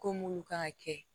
Ko mulu kan ka kɛ